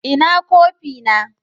Ina kofi na?